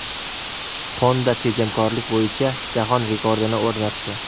Honda tejamkorlik bo‘yicha jahon rekordini o‘rnatdi.